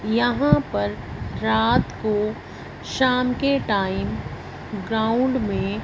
यहां पर रात को शाम के टाइम ग्राउंड में--